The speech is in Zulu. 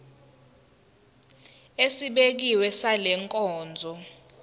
esibekiwe sale nkonzo